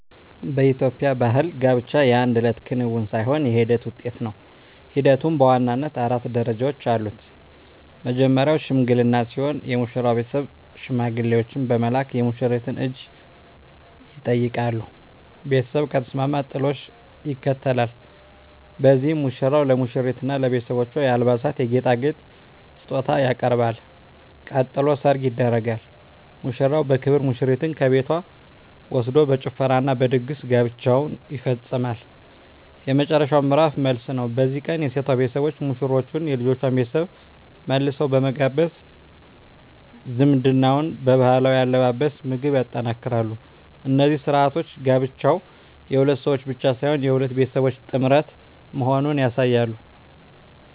በኢትዮጵያ ባሕል ጋብቻ የአንድ እለት ክንውን ሳይሆን የሂደት ውጤት ነው። ሂደቱም በዋናነት አራት ደረጃዎች አሉት። መጀመርያው "ሽምግልና" ሲሆን፣ የሙሽራው ቤተሰብ ሽማግሌዎችን በመላክ የሙሽሪትን እጅ ይጠይቃሉ። ቤተሰብ ከተስማማ "ጥሎሽ" ይከተላል፤ በዚህም ሙሽራው ለሙሽሪትና ለቤተሰቦቿ የአልባሳትና የጌጣጌጥ ስጦታ ያቀርባል። ቀጥሎ "ሰርግ" ይደረጋል፤ ሙሽራው በክብር ሙሽሪትን ከቤቷ ወስዶ በጭፈራና በድግስ ጋብቻው ይፈጸማል። የመጨረሻው ምዕራፍ "መልስ" ነው። በዚህ ቀን የሴቷ ቤተሰቦች ሙሽሮቹንና የልጁን ቤተሰብ መልሰው በመጋበዝ ዝምድናውን በባህላዊ አለባበስና ምግብ ያጠናክራሉ። እነዚህ ሥርዓቶች ጋብቻው የሁለት ሰዎች ብቻ ሳይሆን የሁለት ቤተሰቦች ጥምረት መሆኑን ያሳያሉ።